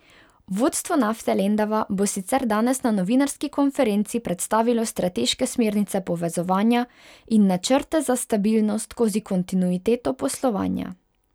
Vodstvo Nafte Lendava bo sicer danes na novinarski konferenci predstavilo strateške smernice povezovanja in načrte za stabilnost skozi kontinuiteto poslovanja.